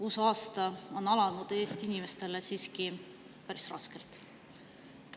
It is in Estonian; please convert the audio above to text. Uus aasta on alanud Eesti inimestele siiski päris raskelt.